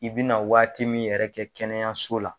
I bina waati min yɛrɛ kɛ kɛnɛyaso la.